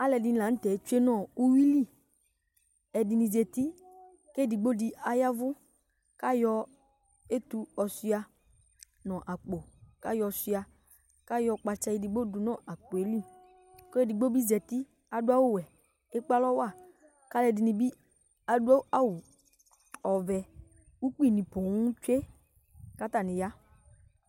Alɛdini la nu tɛ atsue nu uyuli ɛdini zati kedigbo di yavu kayɔ etu yɔshua nu akpo kayɔ shua ayɔ kpatsa edigbo yɔdu nu akpo yɛli kɔluedigbo dibi zati kadu awu wɛ ku ekpe alɔwa kaluɛdini bi adu awu vɛ ukpi poo ni tsue katani ya